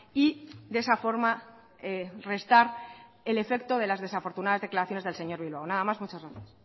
y de esa forma restar el efecto de las desafortunadas declaraciones del señor bilbao nada más muchas gracias